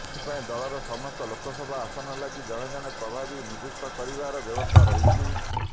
ଏଥିପାଇଁ ଦଳର ସମସ୍ତ ଲୋକସଭା ଆସନ ଲାଗି ଜଣେ ଜଣେ ପ୍ରଭାରୀ ନିଯୁକ୍ତ କରିବାର ବ୍ୟବସ୍ଥା କରିଛି